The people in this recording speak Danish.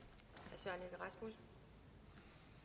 hvis